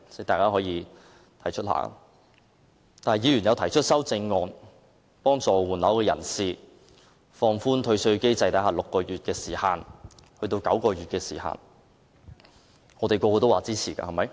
但是，議員提出修正案幫助換樓人士，將換樓退稅的時限由6個月延長至9個月，大家都同意的，對嗎？